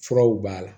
Furaw b'a la